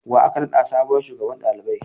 Wa aka naɗa sabuwar shugaban ɗalibai?